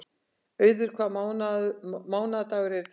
Auður, hvaða mánaðardagur er í dag?